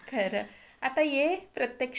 खरं, आता ये प्रत्यक्षात भेटू आपण.